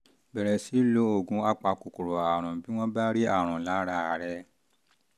bẹ̀rẹ̀ sí í lo oògùn apakòkòrò àrùn bí wọ́n bá rí àrùn lára rẹ